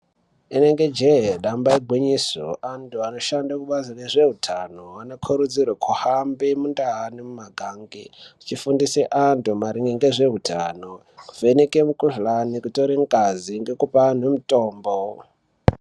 Inenge je damba igwinyiso antu anoshanda kubazi rezvehutano anokurudzirwa kuhambe mundau ngemumagange achifundise antu maringe nezvehutano kuvheneke mikuhlani kutore ngazi nekupaanhu mitombo.